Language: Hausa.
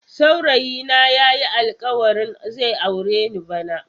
Saurayi na yayi alkawarin zai aure ni bana.